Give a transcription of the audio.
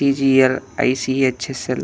T_ G_ L_ I_ C _H _S _L --